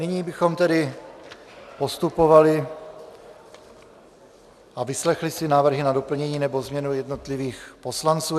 Nyní bychom tedy postupovali a vyslechli si návrhy na doplnění nebo změnu jednotlivých poslanců.